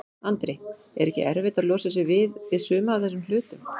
Andri: Er ekkert erfitt að losa sig við, við suma af þessum hlutum?